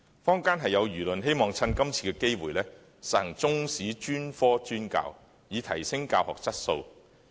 坊間有輿論希望藉着今次機會實行中史專科專教，以提升教學質素。